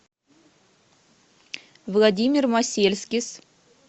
владимир масельскис